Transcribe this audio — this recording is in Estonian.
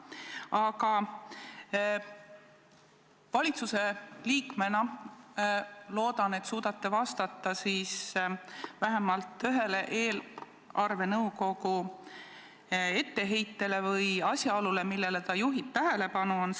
Aga vahest te valitsuse liikmena suudate vastata vähemalt ühele eelarvenõukogu etteheitele või asjaolule, millele nõukogu tähelepanu juhib.